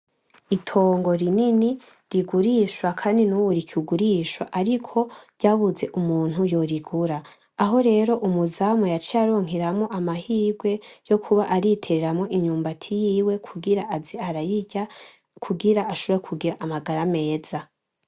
Itongo rinini rigurishwa kandi nubu rikigurishwa ariko ryabuze umuntu yorigura, aho rero umuzamu yaciye aronkeramwo amahirwe yokuba ariteramwo imyumbati yiwe kugira aze arayirya kugira ashobore kugira amagara meza.